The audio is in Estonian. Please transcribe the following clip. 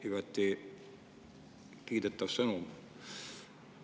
Igati kiidetav sõnum.